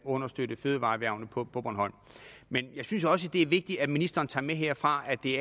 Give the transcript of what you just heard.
understøtte fødevareerhvervene på bornholm men jeg synes også det er vigtigt at ministeren tager med herfra at det